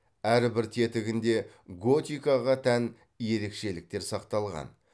әрбір тетігінде готикаға тән ерекшеліктер сақталған